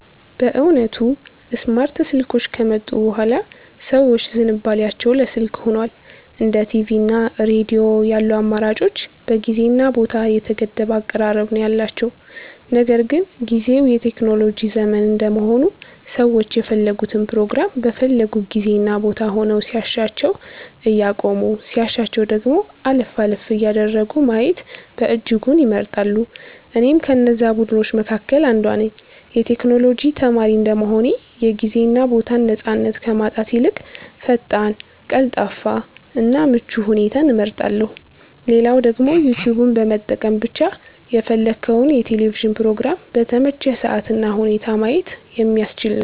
በእውነቱ ስማርት ስልኮች ከመጡ ቡሃላ ሰዎች ዝንባሊያቸው ለ ስልክ ሁኗል። እንደ ቲቪ እና ሬዲዮ ያሉ አማራጮች በጊዜ እና ቦታ የተገደበ አቀራረብ ነው ያላቸው። ነገር ግን ጊዝው የቴክኖሎጂ ዘመን እንደመሆኑ ሰዎች የፈለጉትን ፕሮግራም በፈለጉት ጊዜ እና ቦታ ሆነው ሲያሻቸው እያቆሙ ሲያሻቸው ደግሞ አለፍ አለፍ እያደረጉ ማየትን በእጅጉ ይመርጣሉ። እኔም ከነዛ ቡድኖች መካከል አንዷ ነኝ። የ ቴክኖሎጂ ተማሪ እንደመሆኔ የ ጊዜ እና ቦታን ነፃነት ከማጣት ይልቅ ፈጣን፣ ቀልጣፋ እና ምቹ ሁኔታን እመርጣለው። ሌላው ደግሞ ዩትዩብን በመጠቀም ብቻ የፈለግከውን የ ቴሌቪዥን ፕሮግራም በተመቸህ ሰአት እና ሁኔታ ማየት የሚያስችል ነው።